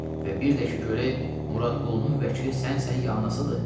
Və bir də ki, görəm Muradqulunun vəkili sənsən, ya anasıdır?